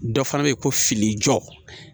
Dɔ fana bɛ yen ko fini jɔ